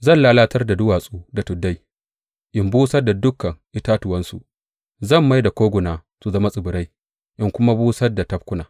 Zan lalatar da duwatsu da tuddai in busar da dukan itatuwansu; zan mai da koguna su zama tsibirai in kuma busar da tafkuna.